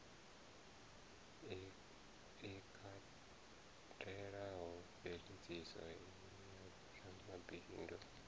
i katelaho mveladziso ya vhoramabindu